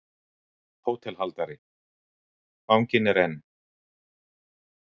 HÓTELHALDARI: Fanginn er enn.